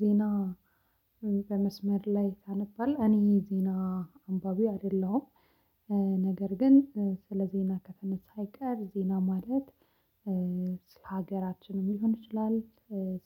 ዜና በመስመር ላይ ታነባለህ እኔ ዜና አንባቢ አይደለሁም። ነገር ግን ስለ ዜና ከተነሳ አይቀር ዜና ማለት ለሀገራችንም ሊሆን ይችላል።